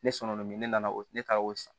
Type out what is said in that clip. Ne sɔnna o min ne nana o ne taara o san